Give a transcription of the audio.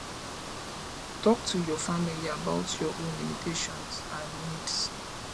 talk to your family about your own limitations and needs